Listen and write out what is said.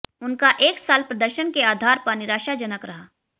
उनका एक साल प्रदर्शन के आधार पर निराशाजनक रहा